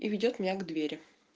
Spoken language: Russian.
и ведёт меня к двери